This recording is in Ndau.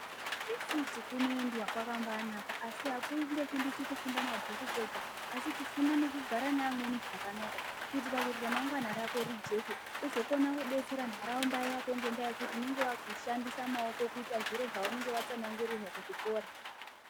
Kuyunivhesiti kunoendwa kwakambaanaka asi akundofundiswi kufunda mabhuku kwega asi kufunda nekugara nevamweni zvakanaka kuitira kuti ramangwana rako rijeke uzokona kudetsera ntaraunda yako ngendaa yekuti unenga wakukona kushandisa maoko kuita zviro zvaunenge watsanangurirwa kuchikora.